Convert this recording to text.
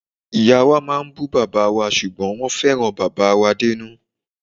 Ìyáa wa máa ń bù bàbáa wa ṣùgbọ́n wọ́n fẹ́ràn bàbáà wa dénú.